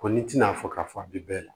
Ko n'i tina fɔ k'a fɔ a bɛ bɛɛ la